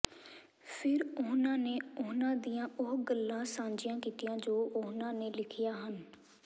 ਫਿਰ ਉਨ੍ਹਾਂ ਨੇ ਉਹਨਾਂ ਦੀਆਂ ਉਹ ਗੱਲਾਂ ਸਾਂਝੀਆਂ ਕੀਤੀਆਂ ਜੋ ਉਨ੍ਹਾਂ ਨੇ ਲਿਖੀਆਂ ਹਨ